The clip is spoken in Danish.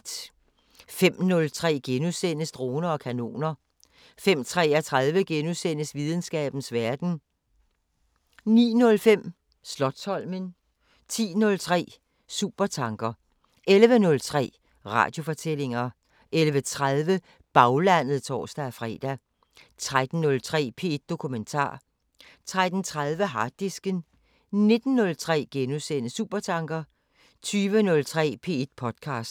05:03: Droner og kanoner * 05:33: Videnskabens Verden * 09:05: Slotsholmen 10:03: Supertanker 11:03: Radiofortællinger 11:30: Baglandet (tor-fre) 13:03: P1 Dokumentar 13:30: Harddisken 19:03: Supertanker * 20:03: P1 podcaster